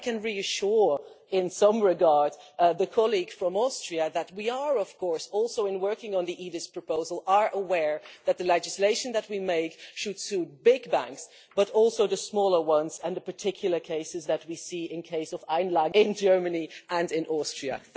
But I can reassure, in some regards, the colleague from Austria that we are, of course also in working on the EDIS proposal aware that the legislation that we make should suit big banks, but also the smaller ones and the particular cases that we have seen in the case of in Germany and in Austria.